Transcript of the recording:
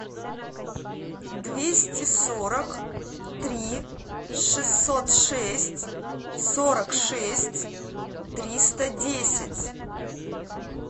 двести сорок три шестьсот шесть сорок шесть триста десять